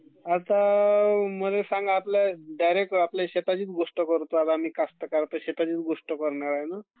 आता मल्ये सांग आपले डायरेक्ट आता शेताचीच गोष्ट करणार. आहे........आता शेताचीच गोष्ट करणारे आहे मी...